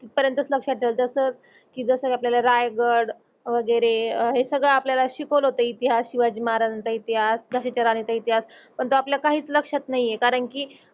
पर्यंत लक्षात जस कि जस आपल्याल रायगड वगेरे हे सगळ आपल्याल शिकवलं होते. इतिहास शिवाजी महाराजाचं इतिहास, झांसीच राणीचं इतिहास तो आपल्यात काहीच लक्षात नाही आहे कारण कि